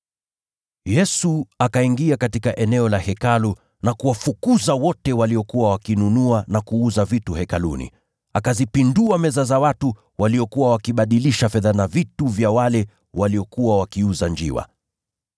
Yesu akaingia katika eneo la Hekalu na kuwafukuza wote waliokuwa wakinunua na kuuza vitu Hekaluni. Akazipindua meza za wale waliokuwa wakibadilisha fedha, na pia viti vya wale waliokuwa wakiuza njiwa.